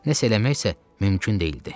Nəsə eləmək isə mümkün deyildi.